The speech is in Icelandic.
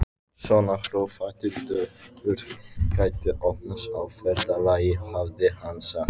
Svona hrófatildur gæti opnast á ferðalagi, hafði hann sagt.